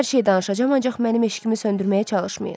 Hər şeyi danışacam, ancaq mənim eşqimi söndürməyə çalışmayın.